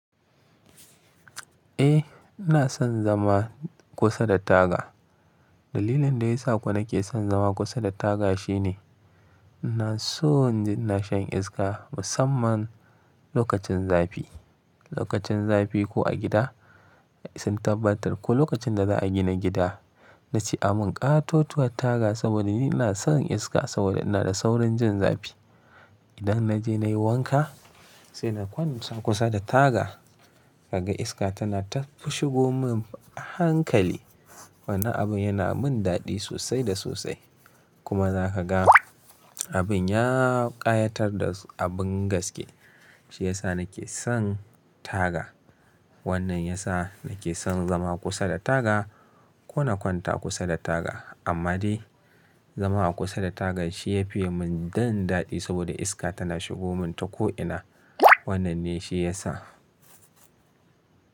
Eh ina son zama kusa da taga. Dalilin da ya sa kuwa nake son zama kusa da taga shine ina sonnin ji ina shan iska musamman lokacin zafi. Lokacin zafi ko a gida sun tabbatar ko lokacin da za a gina gida na ce a mun ƙato tuwat taga saboda ni ina son iska saboda ina da saurin jin zafi. Idan naje nayi wanka sai na kwanta kusa da taga ka ga iska tana ta shigo mun a hankali. Wannan abin yana min daɗi sosai da sosai. Kuma za ka ga abin ya ƙayatar da abin gaske shi ya sa nake son taga. Wannan ya sa nake son zama kusa da taga ko na kwanta kusa da taga. Amma dai zama akusa da taga shi ya fiya mun jin daɗi saboda iska tana shigo mun ta ko'ina. Wannan ne shi ya sa.